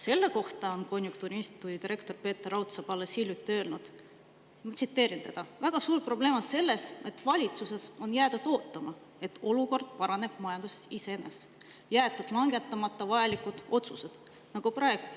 Selle kohta on konjunktuuriinstituudi direktor Peeter Raudsepp alles hiljuti öelnud, ma tsiteerin teda: " on see, et on valitsuses jäädud ootama, et olukord majanduses paraneb iseenesest, jäetud langetamata vajalikud otsused.